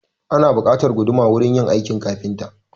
Ana buƙatar guduma wurin yin aikin kafinta.